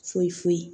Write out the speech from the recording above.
Foyi foyi